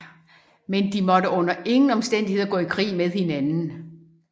Men de måtte under ingen omstændigheder gå i krig med hinanden